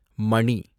மணி